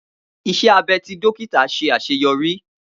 Iṣẹ abẹ ti dókítà ṣe aṣeyọri.